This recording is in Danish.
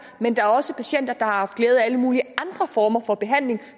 men der er også patienter der har haft glæde af alle mulige andre former for behandling